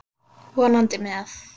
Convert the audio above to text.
Vonandi með.